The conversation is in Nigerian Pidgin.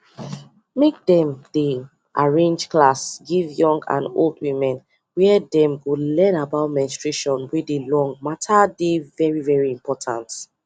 make dem them arrange class give young and old women where dem go learn about menstruation wey dey long matter dey very very important